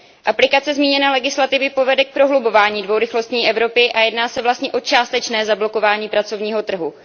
Aplikace zmíněné legislativy povede k prohlubování dvourychlostní Evropy a jedná se vlastně o částečné zablokování pracovního trhu.